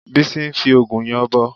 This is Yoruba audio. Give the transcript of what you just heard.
Bísí ń fi òògùn yanbọ